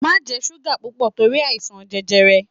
Má jẹ súgà púpọ̀ torí àìsàn jẹjẹrẹ!